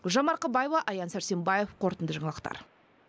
гүлжан марқабаева аян сәрсенбаев қорытынды жаңалықтар